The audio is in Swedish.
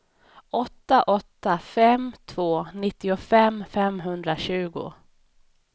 åtta åtta fem två nittiofem femhundratjugo